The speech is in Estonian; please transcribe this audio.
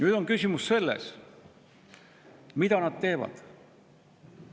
Nüüd on küsimus selles, mida nad teevad.